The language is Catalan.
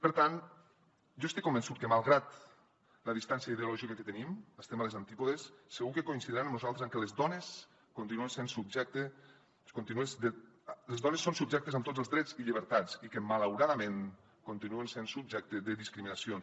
per tant jo estic convençut que malgrat la distància ideològica que tenim estem als antípodes segur que coincideixen amb nosaltres en que les dones són subjectes amb tots els drets i llibertats i que malauradament continuen sent subjecte de discriminacions